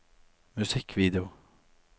musikkvideo